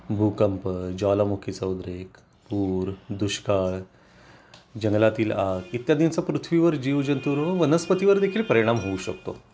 भूकंप ज्वालामुखी चा उद्रेक पूर दुष्काळ जंगलातील आग इत्यादींचा पृथ्वीवर जीवजंतूंवर व वनस्पतींवर देखील परिणाम होऊ शकतो